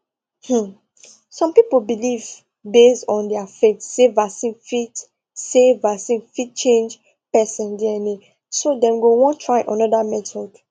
um some people believe base on their faith say vaccine fit say vaccine fit change person dna so them go won try another method